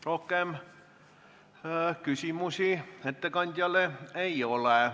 Rohkem küsimusi ettekandjale ei ole.